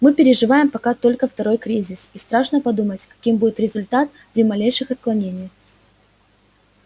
мы переживаем пока только второй кризис и страшно подумать каким будет результат при малейших отклонениях